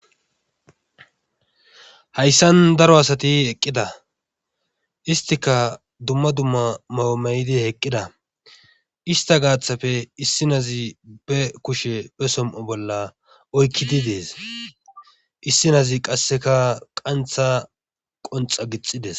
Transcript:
Hayssan daro asati eqqida istika dumma dumma mawumaydi heqqida ista gaaththapfe issi nazi be kushe be som7o bolla oykkidi dees issi nazi qasseka qantha qonxa gixides